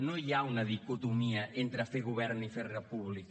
no hi ha una dicotomia entre fer govern i fer república